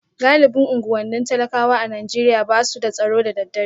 Galibin unguwannin talakawa a Najeriya ba su da tsaro da daddare